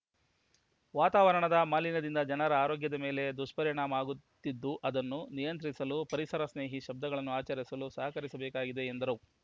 ವಾತಾವರಣದ ಮಾಲಿನ್ಯದಿಂದ ಜನರ ಆರೋಗ್ಯದ ಮೇಲೆ ದುಷ್ಪರಿಣಾಮ ಆಗುತ್ತಿದ್ದು ಇದನ್ನು ನಿಯಂತ್ರಿಸಲು ಪರಿಸರ ಸ್ನೇಹಿ ಶಬ್ಧಗಳನ್ನು ಆಚರಿಸಲು ಸಹಕರಿಸಬೇಕಾಗಿದೆ ಎಂದರು